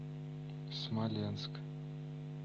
смоленск